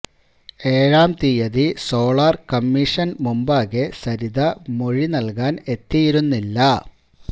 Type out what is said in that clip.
ഏഴാം തീയതി സോളാർ കമ്മീഷന് മുമ്പാകെ സരിത മൊഴി നൽകാൻ എത്തിയിരുന്നില്ല